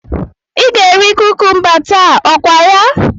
Ị ga-eri kukumba taa, okwaya?